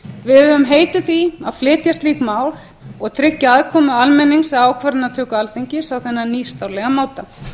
við höfum heitið því að flytja slík mál og tryggja aðkomu almennings að ákvarðanatöku alþingis á þennan nýstárlega máta